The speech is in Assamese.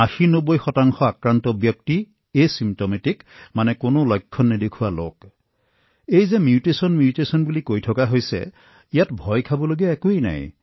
৮০৯০ শতাংশ লোকৰ কোনো লক্ষণ প্ৰদৰ্শন নহয় আৰু মিউটেচনমিউটেচনৰ বিষয়ে যি কোৱা হৈছে তাতো ভয় খোৱাৰ প্ৰয়োজন নাই